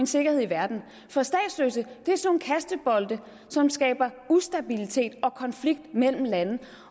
sikkerhed i verden for statsløse er sådan nogle kastebolde som skaber ustabilitet og konflikt mellem lande